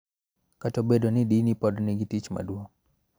Kata obedo ni dini pod nigi tich maduong�.